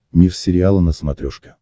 мир сериала на смотрешке